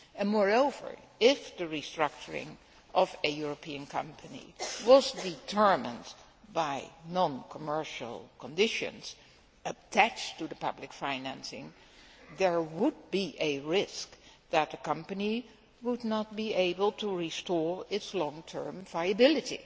Moreover, if the restructuring of a European company was determined by non commercial conditions attached to public financing, there would be a risk that a company would not be able to restore its long term viability,